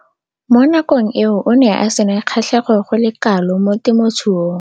Mo nakong eo o ne a sena kgatlhego go le kalo mo temothuong.